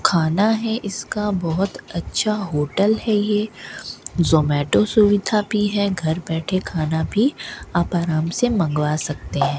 खाना है इसका बहोत अच्छा होटल है ये जोमैटो सुविधा भी है घर बैठे खाना भी आप आराम से मंगवा सकते है।